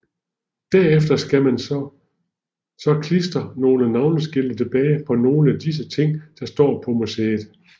Derefter skal man så klister nogle navneskilte tilbage på nogle af disse ting der står på museet